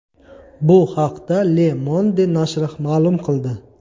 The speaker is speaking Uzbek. Bu haqda Le Monde nashri ma’lum qildi .